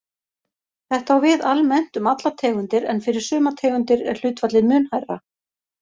Þetta á við almennt um allar tegundir en fyrir sumar tegundir er hlutfallið mun hærra.